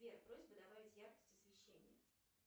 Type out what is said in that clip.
сбер просьба добавить яркость освещения